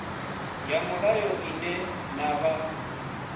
ya mulayo ine na vha